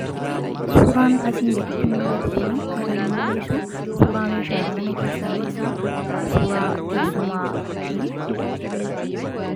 Suuraan asiin gaditti kuni kan inni mul'isu suuraa meeshaalee mana keessaa suuraa teessumaa tii.